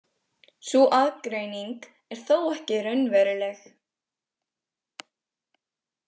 Sú aðgreining er þó ekki raunveruleg.